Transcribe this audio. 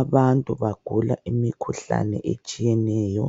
Abantu bagula imikhuhlane etshiyeneyo